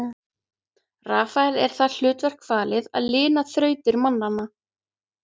Rafael er það hlutverk falið að lina þrautir mannanna.